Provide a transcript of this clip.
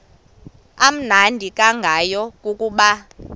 amnandi ngayo kukuba